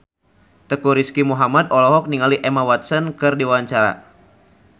Teuku Rizky Muhammad olohok ningali Emma Watson keur diwawancara